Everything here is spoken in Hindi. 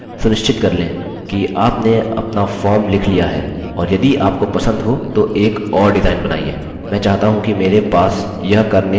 यदि आप इसका क्रमशः अनुगमन कर रहे हैं सुनिश्चित कर लें कि आपने अपना फॉर्म लिख लिया है और यदि आपको पसंद हो तो एक और डिजाइन बनाइए